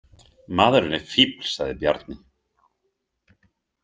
Maðurinn er fífl, sagði Bjarni.